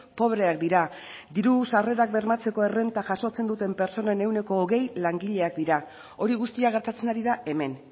pobreak dira diru sarreak bermatzeko errenta jasotzen duten pertsonen ehuneko hogei langileak dira hori guztia gertatzen ari da hemen